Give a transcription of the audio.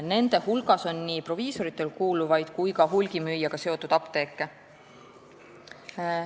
Nende hulgas on nii proviisoritele kuuluvaid kui ka hulgimüüjaga seotud apteeke.